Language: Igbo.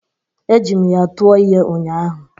Ejiri m ya tụọ ihe ụnyaahụ.